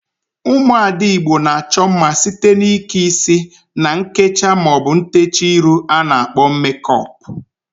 Ụmụada Igbo na-achọ mma site n'ike isi na nkecha maọbụ ntecha iru a na-akpọ mekọp.